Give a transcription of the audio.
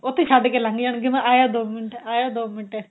ਉੱਥੇ ਛੱਡ ਕੇ ਲੰਗ ਜਾਣਗੇ ਮੈਂ ਆਇਆ ਦੋ ਮਿੰਟ ਆਇਆ ਦੋ ਮਿੰਟ